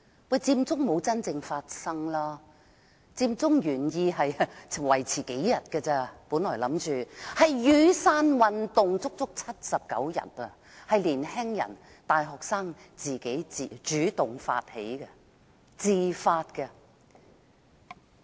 不過，佔中沒有真正發生，佔中的原意只是維持數天，反而是雨傘運動維持了79天，是由年青人、大學生主動發起，他們是自發的。